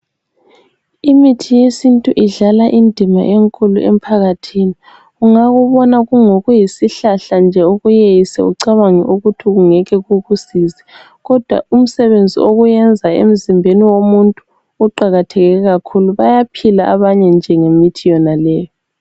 Imithi yesintu idlala indima enkulu emphakathini Ungakubona kuyisihlahla nje ukuyeyise ucabange ukuthi ngeke kukusize kodwa umsebenzi okuwuyenza emzimbeni womuntu uqakatheke kakhulu bayaphila abanye nje ngemithi yonaleyi